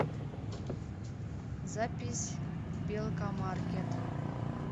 запись белкамаркет